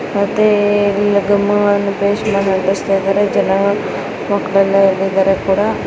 ಮತ್ತೆ ಗಮ್ಮುಗಳನ್ನು ಪೇಸ್ಟ್ ಮಾಡಿ ಅಂಟುಸುತಯಿದರೆ ಜನ ಮಕ್ಕಳು ಎಲ್ಲ ಇಲ್ಲಿ ಇದರೆ ಕೂಡ.